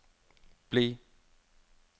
bli